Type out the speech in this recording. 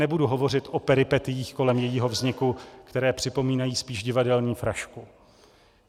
Nebudu hovořit o peripetiích kolem jejího vzniku, které připomínají spíš divadelní frašku.